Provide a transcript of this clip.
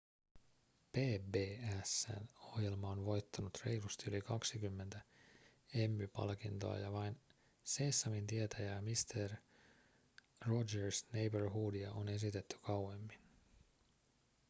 pbs:n ohjelma on voittanut reilusti yli 20 emmy-palkintoa ja vain seesamtietä ja mister rogers' neighborhoodia on esitetty kauemmin